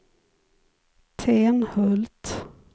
Tenhult